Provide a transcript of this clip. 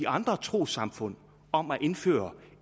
andre trossamfund om at indføre